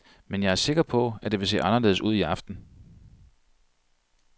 Men jeg er sikker på, at det vil se anderledes ud i aften.